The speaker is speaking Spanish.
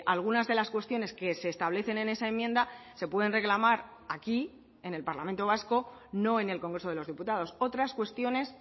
algunas de las cuestiones que se establecen en esa enmienda se pueden reclamar aquí en el parlamento vasco no en el congreso de los diputados otras cuestiones